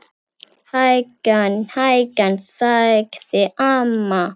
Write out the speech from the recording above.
Hægan, hægan sagði amma.